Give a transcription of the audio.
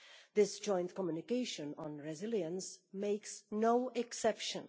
This joint communication on resilience is no exception.